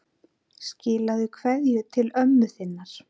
Skilaðu kveðju til ömmu þinnar.